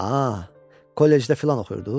Aaa, kollecdə filan oxuyurdunuz?